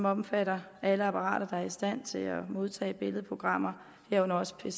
omfatter alle apparater der er i stand til at modtage billedprogrammer herunder også pcer